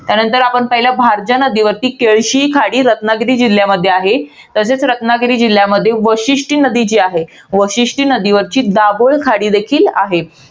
त्यानंतर आपण, पहिला भारजा नदीवरती केळशी खाडी ही रत्नागिरी जिल्ह्यामध्ये आहे. तसेच रत्नागिरी जिल्ह्यामध्ये, वशिष्ठी नदी जी आहे. वशिष्टी नदीवरची दाभोळ खाडी देखील आहे.